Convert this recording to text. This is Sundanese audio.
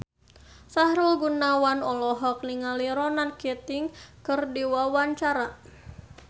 Sahrul Gunawan olohok ningali Ronan Keating keur diwawancara